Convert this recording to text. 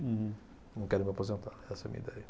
Não quero me aposentar, essa é a minha ideia.